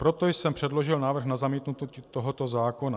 Proto jsem předložil návrh na zamítnutí tohoto zákona.